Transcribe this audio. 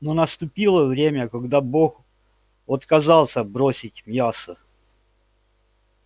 но наступило время когда бог отказался бросить мясо